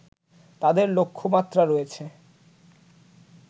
তাদের লক্ষ্যমাত্রা রয়েছে